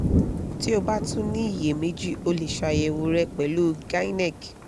ti o ba tun ni iyemeji o le ṣayẹwo rẹ pẹlu gynec